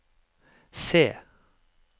C